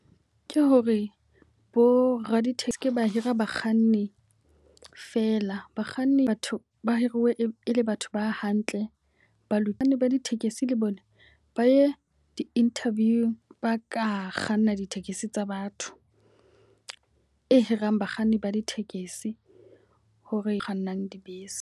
Ke hore bo raditekesi ba hira bakganni feela. Bakganni, batho ba hiruwe e le batho ba hantle ba lo. Bakganni ba ditekesi le bo nna ba ye di-interview. Ba ka kganna ditekesi tsa batho, e hirang bakganni ba ditekesi hore kgannang dibese.